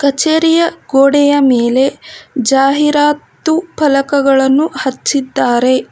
ಚರಿಯ ಗೋಡೆಯ ಮೇಲೆ ಜಾಹೀರಾತು ಪಲಕಗಳನ್ನು ಹಚ್ಚಿದ್ದಾರೆ.